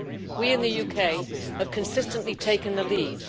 We in the UK have consistently taken the lead